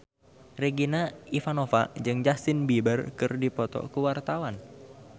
Regina Ivanova jeung Justin Beiber keur dipoto ku wartawan